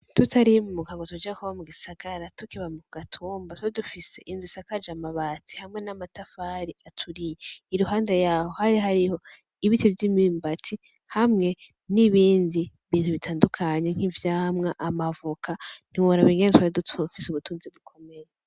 Tutarimuka ngo tuje kuba mu gisagara tukiba ku gatumba , twari dufise inzu isakaje amabati hamwe n’amatafari aturiye. Iyo nzu iruhande yayo hari hariyo ibiti vy’imyumbati hamwe n’ibindi bintu bitandukanye nk’ivyamwa, amavoka ntiworaba ingene twari dufise ubutunzi bukomeye .